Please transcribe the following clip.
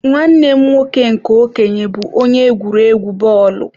Nwanne m nwoke nke okenye bu onye egwuregwu bọọlụ..